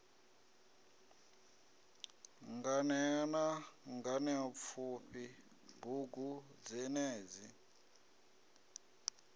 nganea na nganeapfufhi bugu dzenedzi